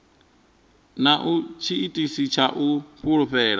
na tshiitisi tsha u fulufhela